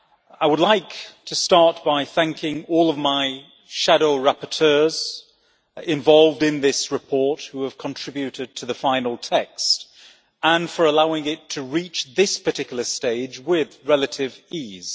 I would like to start by thanking all of my shadow rapporteurs involved in this report who have contributed to the final text, and for allowing it to reach this particular stage with relative ease.